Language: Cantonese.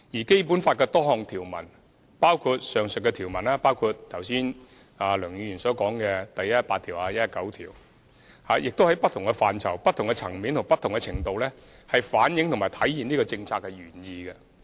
《基本法》多項條文，包括梁議員剛才提到的第一百一十八條和第一百一十九條，均在不同範疇、不同層面和不同程度上反映和體現了上述政策原意。